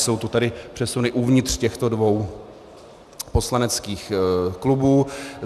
Jsou to tedy přesuny uvnitř těchto dvou poslaneckých klubů.